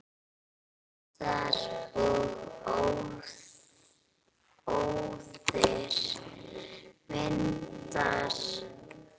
Eldar og óðir vindar